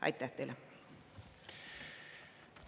Aitäh teile!